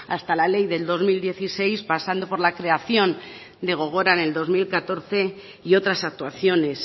hasta la ley del dos mil dieciséis pasando por la creación de gogora en el dos mil catorce y otras actuaciones